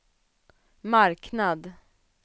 marknad